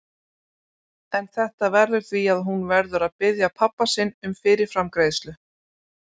En þetta veldur því að hún verður að biðja pabba sinn um fyrirframgreiðslu.